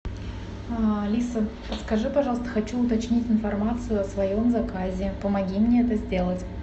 алиса подскажи пожалуйста хочу уточнить информацию о своем заказе помоги мне это сделать